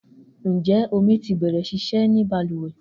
Njẹ omi ti bẹrẹ ṣiṣe ni baluwe?